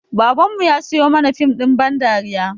Baban mu ya siyo mana fim ɗin ba dariya